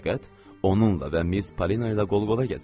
Fəqət onunla və Miss Polina ilə qol-qola gəzir.